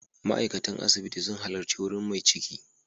Ma'aikatan asibiti sun halarci wurin mai ciki.